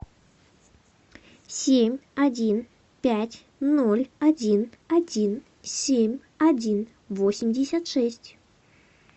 семь один пять ноль один один семь один восемьдесят шесть